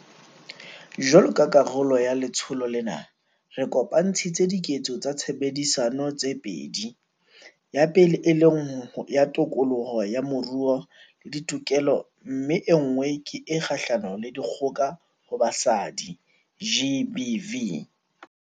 Jwalo ka karolo ya letsholo lena, re kopantshitse 'Diketso tsa Tshebedisano' tse pedi, ya pele e leng ya tokoloho ya moruo le ditokelo mme enngwe ke e kgahlano le dikgoka ho basadi, GBV.